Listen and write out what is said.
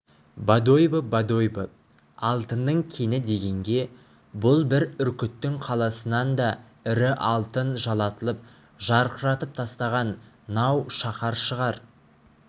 бодойбо бодойбо алтынның кені дегенге бұл бір үркіттің қаласынан да ірі алтын жалатып жарқыратып тастаған нау шаһар шығар